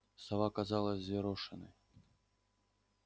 сова казалась взъерошенной